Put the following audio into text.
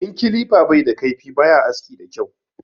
In kilifa bai da kaifi baya aski da kyau